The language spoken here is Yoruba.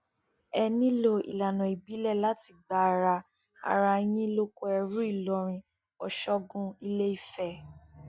ẹ nílò ìlànà ìbílẹ láti gba ara ara yín lóko ẹrú ìlọrin ọṣọgun iléìfẹ